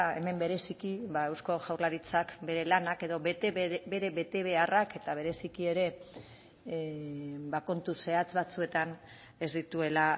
hemen bereziki eusko jaurlaritzak bere lanak edo bere betebeharrak eta bereziki ere kontu zehatz batzuetan ez dituela